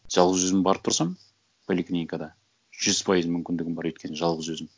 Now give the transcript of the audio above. жалғыз өзім барып тұрсам поликлиникада жүз пайыз мүмкіндігім бар өйткені жалғыз өзім